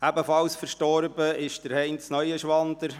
Ebenfalls verstorben ist Heinz Neuenschwander;